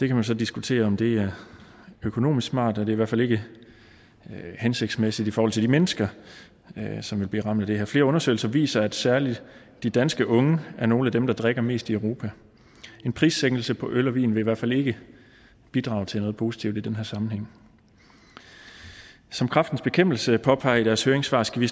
kan man så diskutere om det er økonomisk smart men det hvert fald ikke hensigtsmæssigt i forhold til de mennesker som vil blive ramt af det her flere undersøgelser viser at særlig de danske unge er nogle af dem der drikker mest i europa en prissænkelse på øl og vin vil i hvert fald ikke bidrage til noget positivt i den sammenhæng som kræftens bekæmpelse påpeger i deres høringssvar skal vi